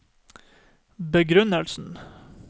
begrunnelsen